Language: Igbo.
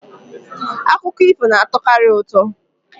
Akụkọ ifo na-atọkarị ụtọ.